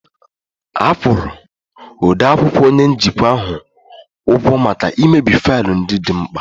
A kwụrụ odeakwụkwọ onye njikwa ahụ ụgwọ maka imebi faịlụ ndị dị mkpa